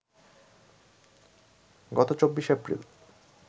গত ২৪ এপ্রিল